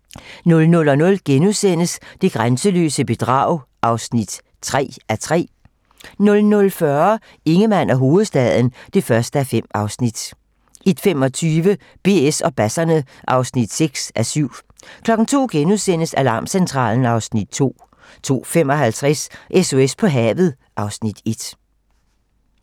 00:00: Det grænseløse bedrag (3:3)* 00:40: Ingemann og hovedstaden (1:5) 01:25: BS og basserne (6:7) 02:00: Alarmcentralen (Afs. 2)* 02:55: SOS på havet (Afs. 1)